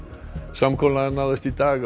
samkomulag náðist í dag